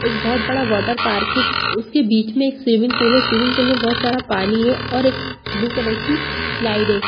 एक बहुत -बड़ा वाटर पार्क है उसके बीच में एक स्विमिंग पूल है स्विमिंग पूल में बहुत सारा पानी है और एक ब्लू कलर की स्लाइड हैं ।